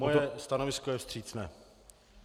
Moje stanovisko je vstřícné.